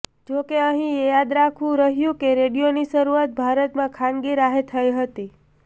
જોકે અહીં એ યાદ રાખવું રહ્યું કે રેડિયોની શરૃઆત ભારતમાં ખાનગી રાહે થઈ હતી